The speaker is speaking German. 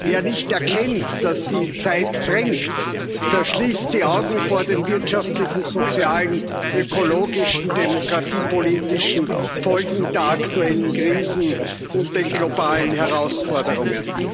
Wer nicht erkennt, dass die Zeit drängt, verschließt die Augen vor den wirtschaftlichen, sozialen, ökologischen und demokratiepolitischen Folgen der aktuellen Krisen und den globalen Herausforderungen.